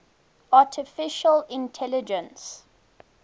artificial intelligence